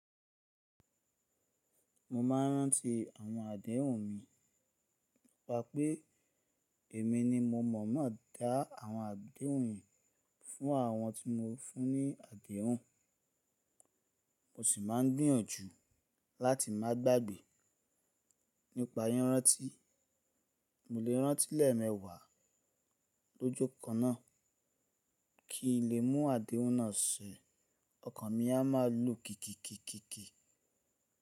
Mo máa ń rántí àwọn adẹ́hùn mi, pa pé èmi ni mo mọ̀ má dá àwọn adẹ́hùn yìí fún àwọn tí mo fún ní adẹ́hùn. Mo sì máa ń gbìyànjù láti má gbàgbé. Nípa rírántí, mo lè rántí lẹ́me wà lo ójó kan náà, kí n lè mú adẹ́hùn náà ṣe, Ọkàn mi a máa lù kìkìkìkìkì.